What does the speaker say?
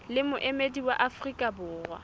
le moemedi wa afrika borwa